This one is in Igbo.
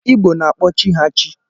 Igbo na-akpọ chi ha chi.